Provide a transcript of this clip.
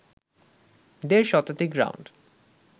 দেড় শতাধিক রাউন্ড